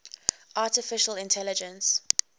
artificial intelligence